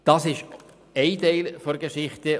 Das ist ein Teil der Geschichte.